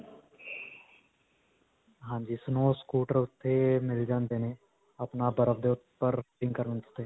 ਹਾਂਜੀ snow scooter ਓੱਥੇ ਮਿਲ ਜਾਂਦੇ ਨੇ ਆਪਣਾ ਬਰਫ ਦੇ ਉਪਰ ਕਰਨ ਤੇ.